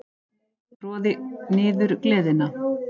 Troði niður gleðina.